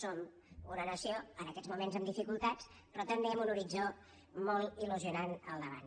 som una nació en aquests moments amb dificultats però també amb un horitzó molt il·lusionant al davant